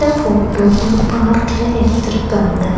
Photo ஒரு பார்க்ல எடுத்து இருக்காங்க.